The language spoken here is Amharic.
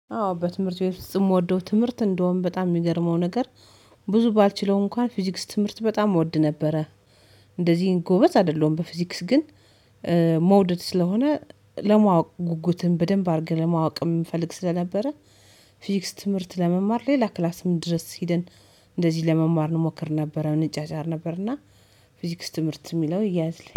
አዎ በትምህርት ውስጥ የምወደው ትምህርት እንደውም በጣም የሚገርመው ነገር ብዙ ባልችለው እንኳን ፊዚክስ ትምህርት በጣም እወድ ነበረ። እንደዚህ ጎበዝ አይደለም በፊዚክስ ግን መውደድ ስለሆነ ለማወቅ ጉጉትን በደንብ አድርገን ለማወቅ የምፈልግ ስለነበረ ፊዚክስ ትምህርት ለመማር ሌላ ክላስ ምን ድረስ ሄደን እንደዚህ ለመማር እንሞክር ነበር እንጫጫር ነበርና ፊዚክስ ትምህርት የሚለው ይያዝልኝ